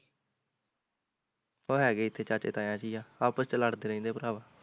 ਉਹ ਹੈਗੇ ਇੱਥੇ ਚਾਚੇ ਤਾਇਆ ਚ ਈ ਆ, ਆਪਸ ਚ ਲੜਦੇ ਰਹਿੰਦੇ ਪਰਾਵਾਂ